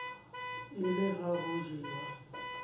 e le ha ho jewa